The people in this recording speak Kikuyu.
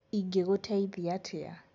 ingĩgũteithia atia